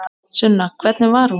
Sunna: Hvernig var hún?